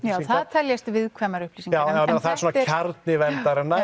já það teljast viðkvæmar upplýsingar já það er kjarni verndarinnar